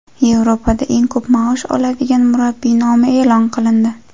Yevropada eng ko‘p maosh oladigan murabbiy nomi e’lon qilindi.